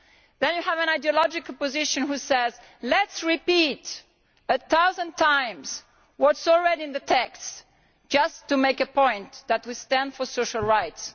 And then you have an ideological position which says let us repeat a thousand times what is already in the text, just to make the point that we stand for social rights.